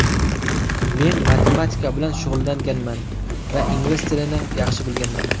Men matematika bilan shug‘ullanganman va ingliz tilini yaxshi bilganman.